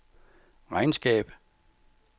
regnskab